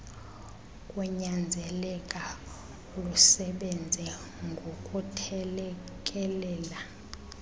kunyanzeleka lusebenze ngokuthelekelela